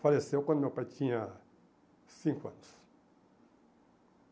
faleceu quando meu pai tinha cinco anos.